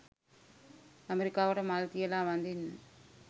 ඇමෙරිකාවට මල් තියල වදින්න.